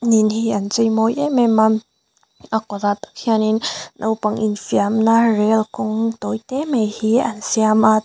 in ni an cheimawi em em a a khawtah tak hian in naupang infiamna rel kawng tawi te mai hi an siam a.